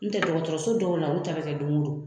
N'o tɛ dɔgɔtɔrɔso dɔw la lu ta bɛ kɛ don o don